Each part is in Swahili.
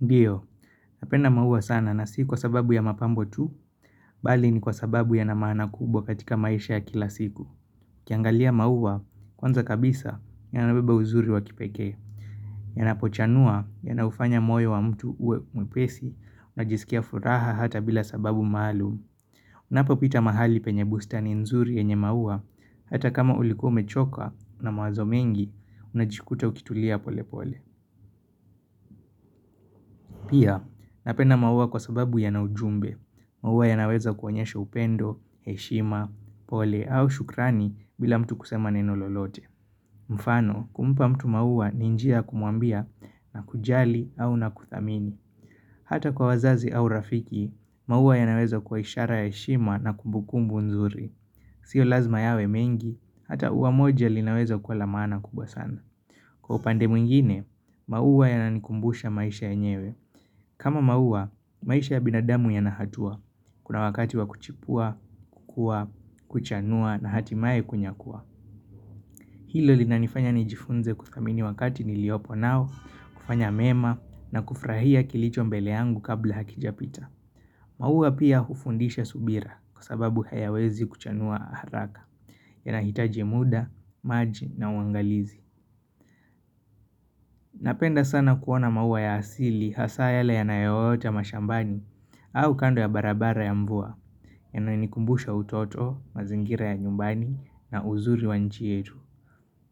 Ndiyo, napenda maua sana na si kwa sababu ya mapambo tu, bali ni kwa sababu yana maana kubwa katika maisha ya kila siku. Ukiangalia maua, kwanza kabisa, yanabeba uzuri wa kipeke. Yanapochanua, yanaufanya moyo wa mtu uwe mwepesi, unajisikia furaha hata bila sababu maalum. Unapopita mahali penye bustani nzuri yenye maua, hata kama ulikuwa umechoka na mawazo mengi, unajikuta ukitulia pole pole. Pia, napenda maua kwa sababu yana ujumbe, maua yanaweza kuonyesha upendo, heshima, pole au shukrani bila mtu kusema neno lolote. Mfano, kumpa mtu maua ni njia ya kumwambia nakujali au nakuthamini. Hata kwa wazazi au rafiki, maua yanaweza kuwa ishara ya heshima na kumbukumbu nzuri. Sio lazima yawe mengi, hata ua moja linaweza kwa la maana kubwa sana. Kwa upande mwingine, maua yananikumbusha maisha yenyewe. Kama maua, maisha ya binadamu yana hatua. Kuna wakati wa kuchipua, kukua, kuchanua na hatimaye kunyakua. Hilo linanifanya nijifunze kuthamini wakati niliopo nao, kufanya mema na kufurahia kilicho mbele yangu kabla hakijapita. Mua pia hufundisha subira kwa sababu hayawezi kuchanua haraka. Yanahitaji muda, maji na uangalizi. Napenda sana kuona maua ya asili hasaa yale yanayoota mashambani au kando ya barabara ya mvua yananikumbusha utoto, mazingira ya nyumbani na uzuri wa nchi yetu.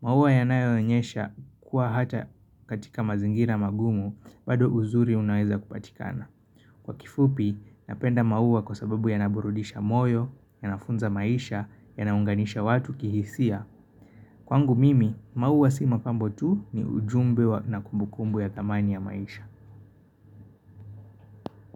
Maua yanayoonyesha kuwa hata katika mazingira magumu bado uzuri unaweza kupatikana. Kwa kifupi, napenda maua kwa sababu yanaburudisha moyo, yanafunza maisha, yanaunganisha watu kihisia. Kwangu mimi, mauwa si mapambo tu ni ujumbe na kumbukumbu ya thamani ya maisha.